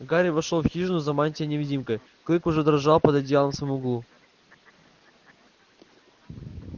гарри вошёл в хижину за мантией-невидимкой клык уже дрожал под одеялом в самом углу